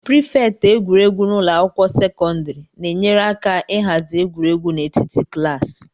Prịfeti egwuregwu na ụlọ akwụkwọ sekọndrị na-enyere aka ịhazi egwuregwu n'etiti klaasị